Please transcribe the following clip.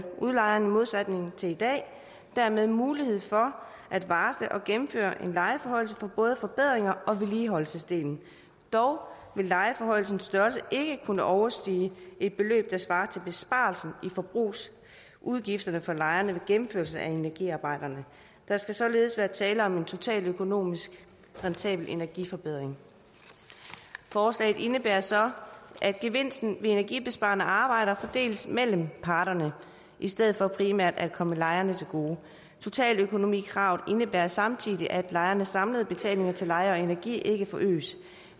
udlejeren i modsætning til i dag dermed mulighed for at varsle og gennemføre en lejeforhøjelse på både forbedrings og vedligeholdelsesdelen dog vil lejeforhøjelsens størrelse ikke kunne overstige et beløb der svarer til besparelsen i forbrugsudgifterne for lejerne ved gennemførelse af energiarbejderne der skal således være tale om en totaløkonomisk rentabel energiforbedring forslaget indebærer så at gevinsten ved energibesparende arbejder fordeles mellem parterne i stedet for primært at komme lejerne til gode totaløkonomikravet indebærer samtidig at lejernes samlede betalinger til leje og energi ikke forøges